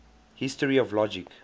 history of logic